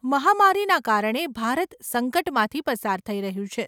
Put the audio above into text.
મહામારીના કારણે ભારત સંકટમાંથી પસાર થઈ રહ્યું છે.